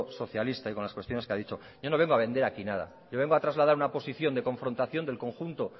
socialista y con las cuestiones que ha dicho yo no vengo a vender aquí nada yo vengo a trasladar una posición de confrontación del conjunto